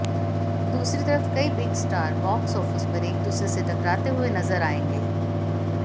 दूसरी तरफ कई बिग स्टार बॉक्स ऑफिस पर एक दूसरे से टकराते हुए नजर आयेंगे